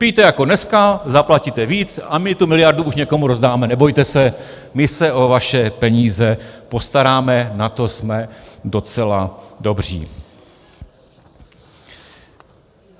Pijte jako dneska, zaplatíte víc a my tu miliardu už někomu rozdáme, nebojte se, my se o vaše peníze postaráme, na to jsme docela dobří.